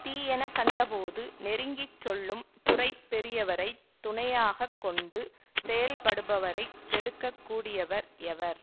தீயன கண்டபோது நெருங்கி சொல்லும் துறை பெரியவரை துணையாக கொண்டு செயல்படுபவரைக் கெடுக்கக் கூடியவர் எவர்